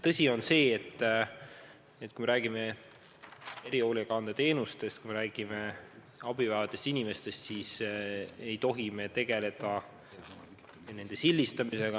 Tõsi on see, et kui me räägime erihoolekande teenustest, kui me räägime abi vajavatest inimestest, siis ei tohi me tegeleda nende sildistamisega.